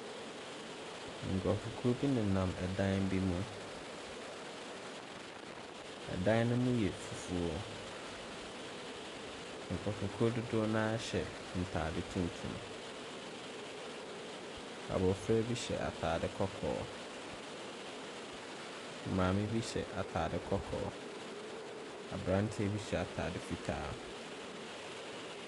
Nkurɔfokuo bi nenam dan bi mu. Dan no mu yɛ fufuo. Nkurɔfokuo dodoɔ no ara hyɛ ntade tuntum. Abɔfra bi hyɛ atade kɔkɔɔ. Maame bi hyɛ atade kɔkɔɔ. Aberanteɛ bi hyɛ atade fitaa.